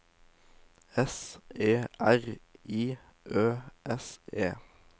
S E R I Ø S E